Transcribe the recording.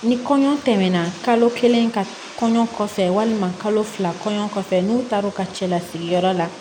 Ni kɔɲɔ tɛmɛna kalo kelen ka kɔɲɔ kɔfɛ walima kalo fila kɔɲɔ kɔfɛ n'u taara u ka cɛlasigiyɔrɔ la